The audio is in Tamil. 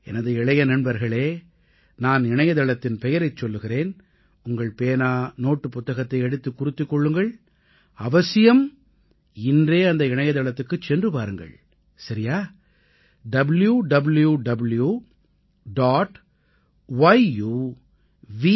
எனது இளைய நண்பர்களே நான் இணையதளத்தின் பெயரைச் சொல்லுகிறேன் உங்கள் பேனா நோட்டுப் புத்தகத்தை எடுத்துக் குறித்துக் கொள்ளுங்கள் அவசியம் இன்றே அந்த இணையதளத்துக்குச் சென்று பாருங்கள் சரியா www